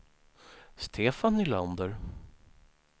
Stefan Nylander